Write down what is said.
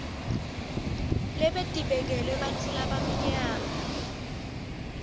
lebetibekelwe bantfu labamnyama